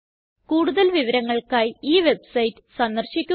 കൂടുതല് വിവരങ്ങൾക്കായി ഈ വെബ്സൈറ്റ് സന്ദർശിക്കുക